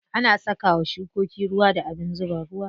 Ana saka wa shukoki ruwa da abin zuba ruwa.